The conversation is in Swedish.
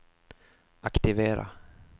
aktivera